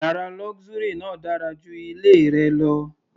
Yàrá luxury náà dára ju ilé rẹ lọ.